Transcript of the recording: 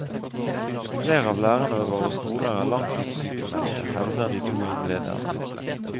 Flere lærere ved våre skoler er langtidssykmeldte, hevdet de to innlederne.